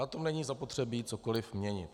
Na tom není zapotřebí cokoli měnit.